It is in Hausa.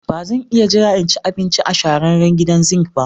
Ba zan iya jira in ci abinci a shahararren gidan zink ba.